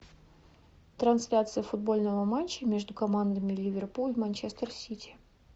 трансляция футбольного матча между командами ливерпуль манчестер сити